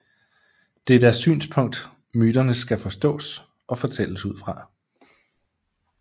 Det er deres synspunkt myternes skal forstås og fortælles ud fra